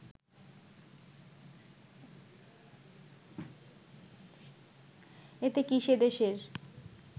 এতে কি সেদেশের